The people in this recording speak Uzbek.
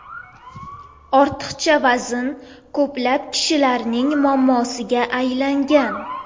Ortiqcha vazn ko‘plab kishilarning muammosiga aylangan.